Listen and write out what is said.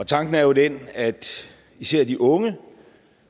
tanken er jo den at især de unge